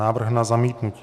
Návrh na zamítnutí.